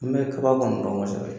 N bɛ kaba kɔni dɔn kosɛbɛ